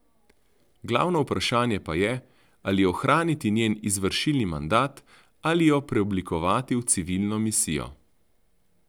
Glavno vprašanje pa je, ali ohraniti njen izvršilni mandat ali jo preoblikovati v civilno misijo.